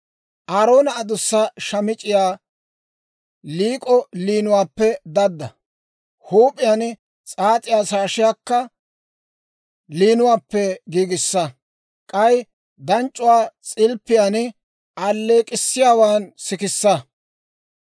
«Aaroona adussa Shaamic'c'iyaa liik'o liinuwaappe dadda; huup'iyaan s'aas'iyaa shaashiyaakka liinuwaappe giigissa. K'ay danc'c'uwaa s'ilppiyaan alleek'k'issiyaawaan sikissa.